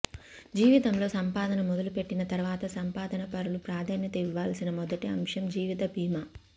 జీవితంలో సంపాదన మొదలుపెట్టిన తర్వాత సంపాదనపరులు ప్రాధాన్యత ఇవ్వాల్సిన మొదటి అంశం జీవిత బీమా